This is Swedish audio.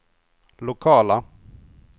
lokala